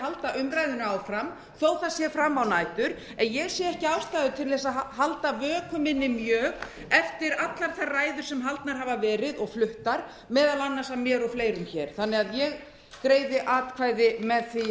halda umræðunni áfram þó það sé fram á nætur en ég sé ekki ástæðu til að halda vöku minni mjög eftir allar þær ræður sem haldnar hafa verið og fluttar meðal annars af mér og fleirum þannig að ég greiði atkvæði með því